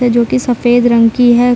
जो की सफेद रंग की है।